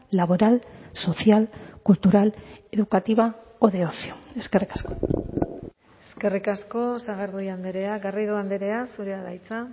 laboral social cultural educativa o de ocio eskerrik asko eskerrik asko sagardui andrea garrido andrea zurea da hitza